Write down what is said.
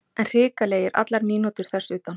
En hrikalegir allar mínútur þess utan.